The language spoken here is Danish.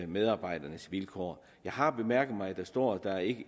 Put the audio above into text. medarbejdernes vilkår jeg har bemærket at der står at der ikke